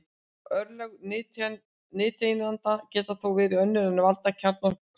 Örlög nifteindanna geta þó verið önnur en að valda kjarnaklofnun.